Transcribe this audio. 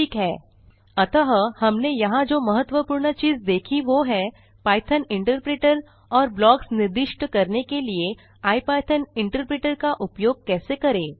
ठीक है अतः हमने यहाँ जो महत्वपूर्ण चीज़ देखी वो है पाइथॉन इंटरप्रिटर और ब्लॉक्स निर्दिष्ट करने के लिए इपिथॉन इंटरप्रिटर का उपयोग कैसे करें